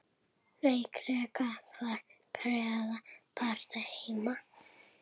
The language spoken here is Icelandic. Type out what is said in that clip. Líklega var Gerður bara heima.